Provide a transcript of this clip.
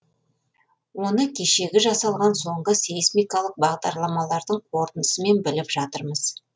оны кешегі жасалған соңғы сейсмикалық бағдарламалардың қорытындысымен біліп жатырмыз